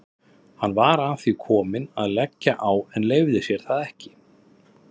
Hann var að því kominn að leggja á en leyfði sér það ekki.